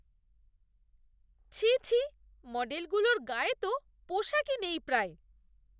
ছিঃ ছিঃ! মডেলগুলোর গায়ে তো পোশাকই নেই প্রায়।